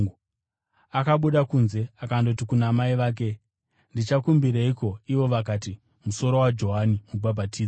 Akabuda kunze akandoti kuna mai vake, “Ndichakumbireiko?” Ivo vakati, “Musoro waJohani Mubhabhatidzi.”